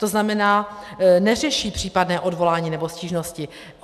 To znamená, neřeší případné odvolání nebo stížnosti.